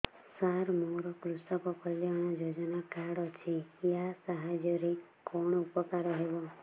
ସାର ମୋର କୃଷକ କଲ୍ୟାଣ ଯୋଜନା କାର୍ଡ ଅଛି ୟା ସାହାଯ୍ୟ ରେ କଣ ଉପକାର ହେବ